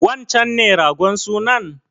Wancen ne ragon sunan?